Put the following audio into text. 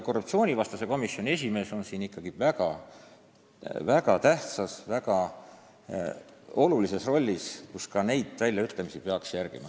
Korruptsioonivastase komisjoni esimees on väga tähtis roll ning tal tuleks ka selliseid väljaütlemisi jälgida ja kontrollida.